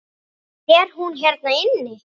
Er hún hérna inni?